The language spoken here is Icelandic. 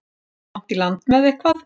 Að eiga langt í land með eitthvað